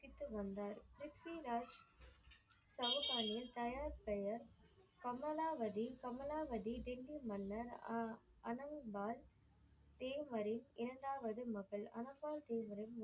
வந்தார் ப்ரித்விராஜ் சவுகாலியர் தாயார் பெயர் கமலாவதி கமலாவதி திவ்ய மன்னர் அனல்வார் தேவ்ஹரி இரண்டாவது மகள் அனல்வார் தேவர்